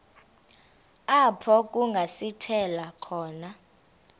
apho kungasithela khona